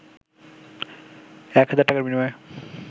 এক হাজার টাকার বিনিময়ে